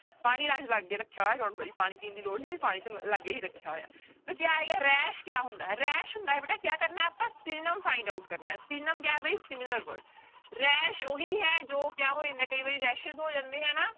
ਪਾਣੀ ਲਾਗੇ ਰੱਖਿਆ ਹੋਇਆ don't worry ਪਾਣੀ ਪੀਣ ਦੀ ਲੋੜ ਪਾਣੀ ਤਾਂ ਲਾਗੇ ਹੀ ਰੱਖਿਆ ਹੋਇਆ, ਤਾਂ ਕਿਆ ਆਏਗਾ rash ਕਿਆ ਹੁੰਦਾ ਹੈ rash ਹੁੰਦਾ ਹੈ ਬੇਟਾ ਕਿਆ ਕਰਨਾ ਹੈ ਆਪਾਂ synonym find out ਕਰਨਾ ਹੈ synonym ਕਿਆ ਹੈ ਬਈ similar word, rash ਉਹੀ ਹੈ ਜੋ ਕਿਆ ਹੋ ਜਾਂਦਾ ਕਈ ਵਾਰੀ rashes ਹੋ ਜਾਂਦੇ ਹੈ ਨਾ।